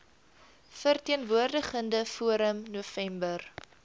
verteenwoordigende forum november